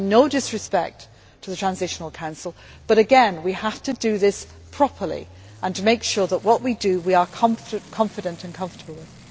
I mean no disrespect to the Transitional Council, but again, we have to do this properly and make sure that we do what we are confident and comfortable with.